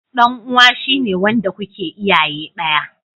Dan uwa shi ne wanda kuke iyaye daya.